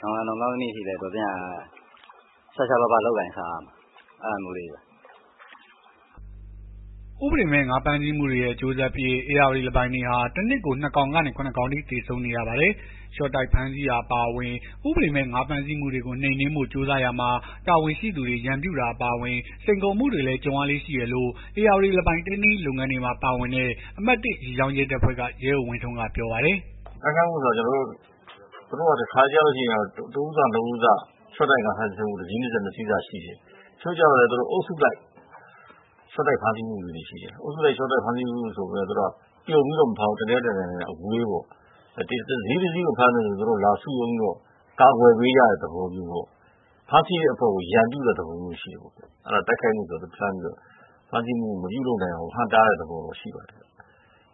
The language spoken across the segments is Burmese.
နောင်လာ နောင်သားသမီးအထိ တော်သင့်ရာ ရှားရှားပါးပါး လုပ်ကိုင်စားရတယ်။ အဲ့ဒါမျိုးလေးတွေပါ။” ဥပဒေမဲ့ ငါးဖမ်းဆီးမှုတွေရဲ့ အကျိုးဆက်အဖြစ် ဧရာဝတီလင်းပိုင်တွေဟာ တနှစ်ကို ၂ ကောင်ကနေ ၇ ကောင်အထိ သေဆုံး နေရပါတယ်။ လျှော့တိုက်ဖမ်းဆီးတာ အပါအဝင် ဥပဒေမဲ့ ငါးဖမ်းဆီးမှုတွေကို နှိမ်နင်းဖို့ ကြိုးစားရာမှာ တာဝန်ရှိသူတွေ ရန်ပြုတာ အပါအဝင် စိန်ခေါ်မှုတွေလည်း ကြုံရလေ့ ရှိတယ်လို့ ဧရာဝတီလင်းပိုင် ထိန်းသိမ်းရေး လုပ်ငန်းတွေမှာ ပါဝင်တဲ့ အမှတ် ၁ ရေကြောင်းရဲတပ်ဖွဲ့က ရဲအုပ်ဝင်းထွန်းက ပြောပါတယ်။ “တိုက်ခိုက်မှုဆိုတာ သူတို့က တခါတလေကျလို့ရှိရင် တဦးစနှစ်ဦးစ တစီးစ နှစ်စီးစ ရှော့တိုက်ငါးဖမ်းတာ ရှိတယ်။ တချို့က အုပ်စုလိုက်ရှော့တိုက်ဖမ်းဆီးမှုလေးတွေရှိတယ်။ အုပ်စုလိုက်ဖမ်းဆီးမှုဆိုပေမယ့် ပြုံပြီးတော့ တနေရာနဲ့တနေရာအဝေးပေါ့။ တစီးတစီးကိုဖမ်းတယ်ဆိုရင် သူတို့လာစုရုံးပြီးတော့ ကာကွယ်ပေးကြတဲ့ သဘောမျိုးပေါ့။ ဖမ်းဆီးတဲ့အဖွဲ့ကို ရန်ပြုတဲ့သဘောမျိုးရှိတယ်ပေါ့။ တိုက်ခိုက်မှုဆိုတာ ဖမ်းဆီးမှုမပြုလုပ်နိုင အောင်လို့ ဟန့်တားတဲ့ သဘောတော့ရှိပါတယ်။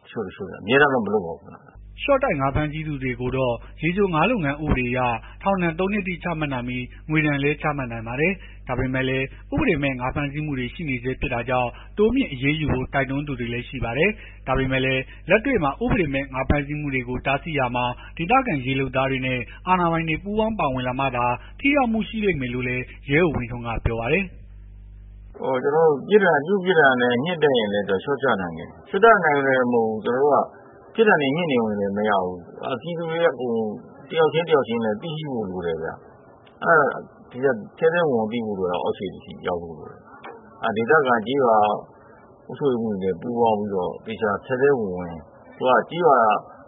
တချို့တချို့တွေက အမြဲတမ်းတော့ မလုပ်ပါဘူးခင်ဗျ။” ရှော့တိုက် ငါးဖမ်းဆီးသူကိုတော့ ရေချိုငါးလုပ်ငန်း ဥပဒေအရ ထောင်ဒဏ် ၃ နှစ်အထိ ချမှတ်နိုင်ပြီး ငွေဒဏ်လည်း ချမှတ်နိုင်ပါတယ်။ ဒါပေမဲ့လည်း ဥပဒေမဲ့ ငါးဖမ်းဆီးမှုတွေ ရှိနေဆဲ ဖြစ်တာကြောင့် တိုးမြှင့်အရေးယူဖို့ တိုက်တွန်းသူတွေလည်း ရှိပါတယ်။ ဒါပေမဲ့လည်း လက်တွေ့မှာ ဥပဒေမဲ့ ငါးဖမ်းဆီးမှုတွေကို တားဆီးရာမှာ ဒေသခံရေးလုပ်သားတွေနဲ့ အာဏာပိုင်တွေ ပူးပေါင်းပါဝင်လာမှသာ ထိရောက်မှု ရှိလိမ့်မယ်လို့လည်း ရဲအုပ်ဝင်းထွန်းက ပြောပါတယ်။ “ပြစ်မှုပြစ်ဒဏ်မြင့်တက်ရင်လည်း လျော့ကျနိုင်တယ်။ လျော့ကျနိုင်ယုံနဲ့တင်မဟုတ်ဘူး။ ကျွန်တော်တို့က ပြစ်ဒဏ်တွေမြင့်နေယုံနဲ့တင်မရဘူး။ ပြည်သူတွေကအကုန် တယောက်ချင်းတယောက်ချင်းလည်း သိရှိဖို့ လိုတယ်ဗျ။ ထဲထဲဝင်ဝင်သိဖို့လိုတယ်။ အောက်ခြေအထိ ရောက်ဖို့လိုတယ်။ ဒေသခံကျေးရွာအုပ်ချုပ်ရေးမှူး တွေပူးပေါင်းပြီးတော့ သေချာထဲထဲဝင်ဝင် အခုဟာ ကျေးရွာ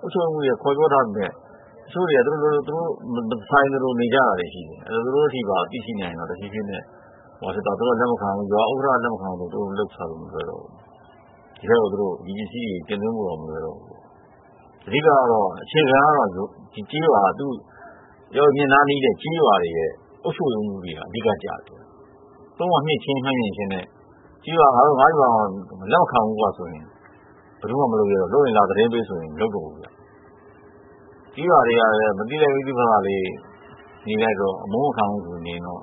အုပ်ချုပ်ရေးမှူးတွေက ခေါ်ပြောထားပေမယ့် တချို့တွေက သူတို့မဆိုင်သလို နေကြတာရှိတယ်။ အဲ့တော့ သူတို့အထိပါသိရှိနိုင်ရင်တော့ တဖြေးဖြေးနဲ့ ရွာဥက္ကဌက လက်မခံဘူးဆိုရင် သူတို့လုပ်စားလို့မလွယ်တော့ဘူး။ ဒီထဲကို ဒီပစ္စည်းတွေ တင်သွင်းဖို့တောင် မလွယ်တော့ဘူး။ အဓိက အခြေခံကတော့ ဧရာဝတီမြစ်နားနီးတဲ့ကျေးရွာတွေရဲ့ အုပ်ချုပ်ရေးမှူးတွေက အဓိက ကျတယ်။ ပုဒ်မမြှင့်ချင်းမမြှင့်ချင်းထက် ငါရွာမှာ လက်မခံဘူးကွဆိုရင် ဘယ်သူမှမလုပ်ရဲတော့ဘူး။ လုပ်ရင် လာသတင်းပေးဆိုရင် မလုပ်တော့ဘူး။ ကျေးရွာတွေက မသိလိုက် မသိဖာသာလေးနေလိုက်တော့ အမုန်းမခံဘူးဆိုပြီးနေရင်တော့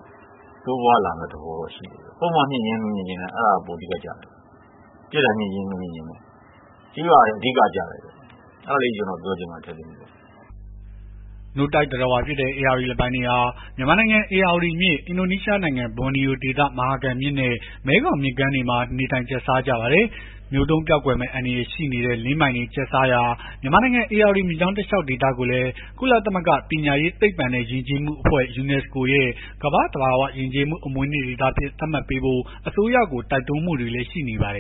တိုးပွားလာမယ့်သဘောတော့ရှိတယ်။ ပုဒ်မမြှင့်ချင်း မမြှင့်ချင်းထက် အဲ့ဒါက ပိုအဓိကကျတယ်။” နို့တိုက်သတ္တဝါ ဧရာဝတီလင်းပိုင်တွေဟာ မြန်မာနိုင်ငံ ဧရာဝတီမြစ်၊ အင်ဒိုနီးရှားနိုင်ငံ ဘော်နီယိုဒေသ မဟာကမ်မြစ်နဲ့ မဲခေါင်မြစ်တွေမှာ နေထိုင်ကျတ်စားကြပါတယ်။ မျိုးတုန်းပျောက်ကွယ်မယ့် အန္တရာယ်ရှိတဲ့ လင်းပိုင်တွေကျတ်စားရာ မြန်မာနိုင်ငံ ဧရာဝတီမြစ်ကြောင်း တလျှောက်ဒေသကိုလည်း ကုလသမဂ္ဂ ပညာရေး၊ သိပ္ပံနဲ့ ယဉ်ကျေးမှုအဖွဲ့ ရဲ့ ကမ္ဘာ့သဘာဝယဉ်ကျေးမှု အမွေအနှစ် ဒေသအဖြစ် သတ်မှတ်ပေးဖို့ အစိုးရကို တိုက်တွန်းမှုတွေလည်း ရှိနေပါတယ်